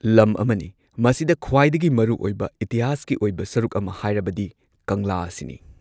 ꯂꯝ ꯑꯃꯅꯤ ꯃꯁꯤꯗ ꯈ꯭ꯋꯥꯏꯗꯒꯤ ꯃꯔꯨꯑꯣꯏꯕ ꯏꯇꯤꯍꯥꯁꯀꯤ ꯑꯣꯏꯕ ꯁꯔꯨꯛ ꯑꯃ ꯍꯥꯏꯔꯕꯗꯤ ꯀꯪꯂꯥ ꯑꯁꯤꯅꯤ꯫